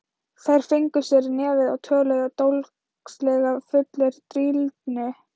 Þeir fengu sér í nefið og töluðu dólgslega, fullir drýldni.